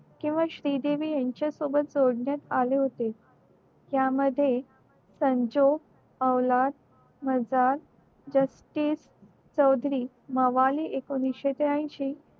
किंव्हा श्री देवी त्यांच्या सोबत जोडण्यात आले होते त्यामध्ये संजोग अवलाद मजदार चौधरी मवाली एकोणीशे त्र्याशी